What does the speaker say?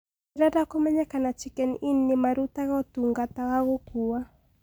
ndĩrenda kumenya kana chicken inn nĩmarũtaga ũtũngata wa gũkũwa